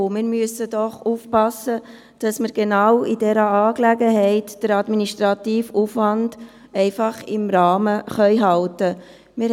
Wir müssen aufpassen, dass wir in dieser Angelegenheit den administrativen Aufwand im Rahmen halten können.